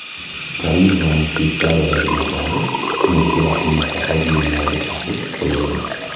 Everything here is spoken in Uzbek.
Karimovaning Shveysariyadagi mablag‘i, mulki va qimmatbaho buyumlariga taqiq qo‘yildi.